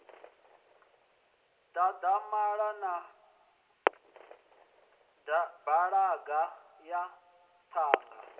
dadamala na balaga ya ṱhanga